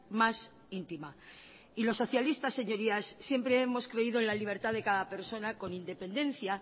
más íntima y los socialistas señorías siempre hemos creído en la libertad de cada persona con independencia